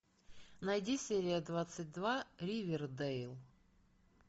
найди серия двадцать два ривердэйл